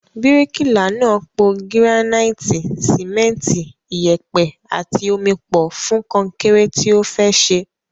Bíríkìlà náà po gíránáìtì, sìmẹ́ntì, iyẹ̀pẹ̀ àti omi pọ̀ fún kọnkéré tí ó fẹ́ ṣe.